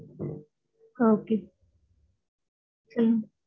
ஆ okay சொல்லுங்க.